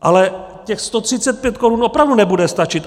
Ale těch 135 korun opravdu nebude stačit.